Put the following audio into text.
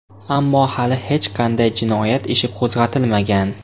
Ammo hali hech qanday jinoyat ishi qo‘zg‘atilmagan.